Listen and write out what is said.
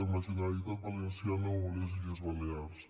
amb la generalitat valenciana o les illes balears